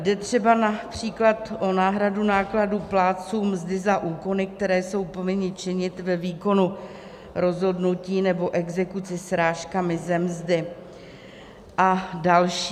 Jde třeba například o náhradu nákladů plátcům mzdy za úkony, které jsou povinni činit ve výkonu rozhodnutí nebo exekuce srážkami ze mzdy a další.